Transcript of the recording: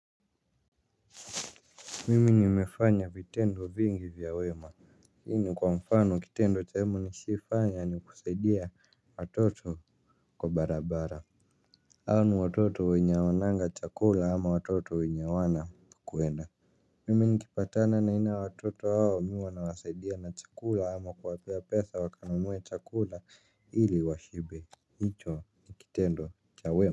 Mimi nimefanya vitendo vingi vya wema. Hii ni kwa mfano kitendo cha wemu nishawahi fanya ni kusaidia watoto kwa barabara hao ni watoto wenye hawananga chakula ama watoto wenye hawana pa kuenda. Mimi nikipatana na aina ya watoto hao mimi huwa nawasaidia na chakula ama kuwapea pesa wakanunue chakula ili washibe. Hicho ni kitendo cha wema.